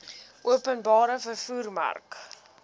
openbare vervoer mark